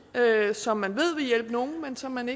som man ved vil hjælpe nogle men som man